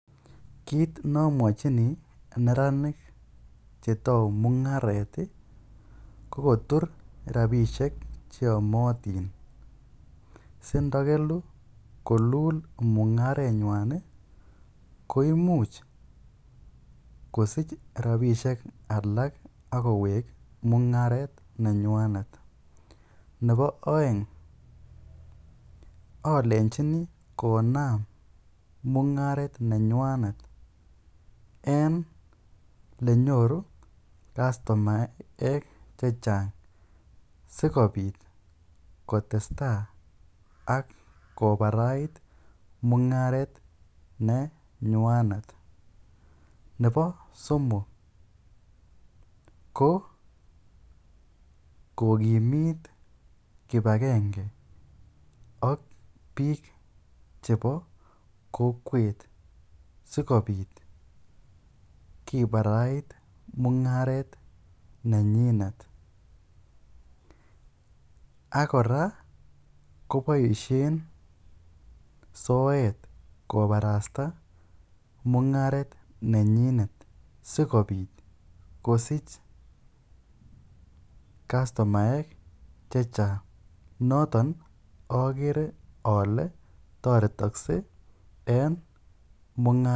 Kiit nomwochini neranik chetou mungaret ko kotur rabishek cheyomotin sindokelu kolul mungarenywan koimuch kosich rabishek alak ak kowek mungaret nenywanet, nebo oeng olenjini konam mungaret nenywanet en elenyoru customaek chechang sikobit kotesta ak kobarait mungaret nenywanet nebo somok ko kokimit kibakenge ak biik chebo kokwet sikobit kibarait mungaret nenyinet, ak kora koboishen soet kobarasta mungaret nenyinet sikobit kosich customaek chechang, noton okere olee toretokse en mungaret.